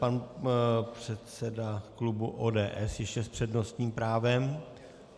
Pan předseda klubu ODS ještě s přednostním právem.